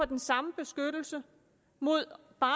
den samme beskyttelse mod bare